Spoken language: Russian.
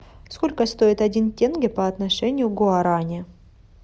сколько стоит один тенге по отношению к гуарани